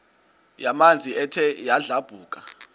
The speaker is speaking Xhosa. yamanzi ethe yadlabhuka